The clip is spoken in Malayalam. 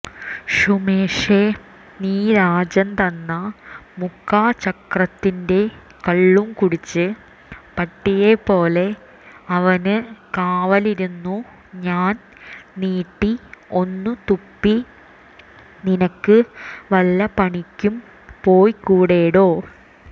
ഷുമേഷേ നീ രാജൻതന്ന മുക്കാചക്രത്തിന്റെ കള്ളും കുടിച്ചു പട്ടിയെപ്പോലെ അവന് കാവലിരുന്നു ഞാൻ നീട്ടി ഒന്നുതുപ്പി നിനക്ക് വല്ലപ്പണിക്കും പോയ്കൂടെടോ